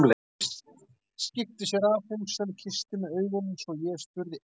Arndís skipti sér af, hún sem kyssti með augunum svo ég spurði einskis.